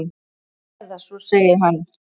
Eða svo segir hann!